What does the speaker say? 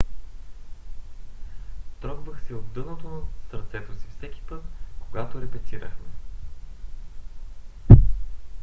"трогвах се от дъното на сърцето си всеки път когато репетирахме